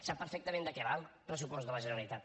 sap perfectament de què va el pressupost de la generalitat